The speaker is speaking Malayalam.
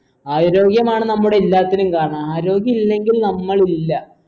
ആരോഗ്യമാണ് നമ്മുടെ എല്ലാത്തിനും കാരണം ആരോഗ്യമില്ലെങ്കിൽ നമ്മളില്ല